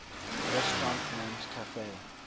restaurant named cafe